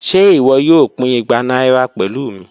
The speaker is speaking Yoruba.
Ṣe iwọ yoo pin igba naira pẹlu mi?